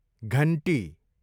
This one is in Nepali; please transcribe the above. घन्टी